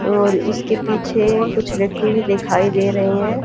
और इसके पीछे कुछ व्यक्ति भी दिखाई दे रहे हैं।